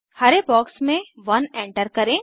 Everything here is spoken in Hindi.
हरे बॉक्स में 1 एंटर करें